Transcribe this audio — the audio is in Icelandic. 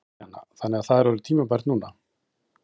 Kristjana: Þannig að það er orðið tímabært núna?